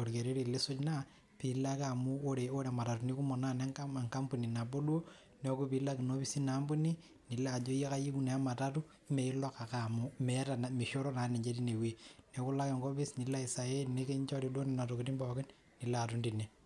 orkereri lisuj naa piilo ake amu oree imatatuni kumok naa ene nkampuni naboo duo neeku pilao ake ina office ina kampuni nilo ajo kayieu naa ematatu meilok ake amu meeishoru naa teine wei neeku ilo ake enkopis nilo ai sign nikinchori duo Nena tokiting' pooki nilo aton teine.